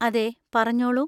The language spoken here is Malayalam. അതെ, പറഞ്ഞോളൂ.